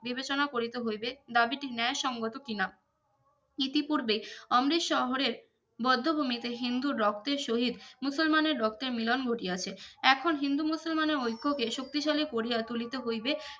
বিবেচনা করিতে হইবে দাবিটি ন্যায় সংগত কি না ইতি পুর্বে অমৃত শহরের বধ্যভূমিতে হিন্দুর রক্তের সহিত মুসলমানের রক্তের মিলোন ঘটিয়াছে এখন হিন্দুমুসলমানের ঐক্যে কে শক্তিশালী করিয়া তুলিতে হইবে